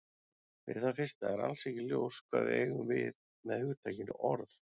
Fyrir það fyrsta er alls ekki ljóst hvað við eigum við með hugtakinu orð.